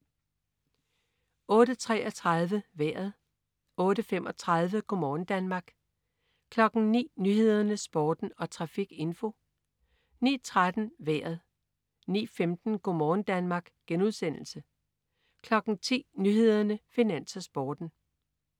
08.33 Vejret (man-fre) 08.35 Go' morgen Danmark (man-fre) 09.00 Nyhederne, Sporten og trafikinfo (man-fre) 09.13 Vejret (man-fre) 09.15 Go' morgen Danmark* (man-fre) 10.00 Nyhederne, Finans, Sporten (man-fre)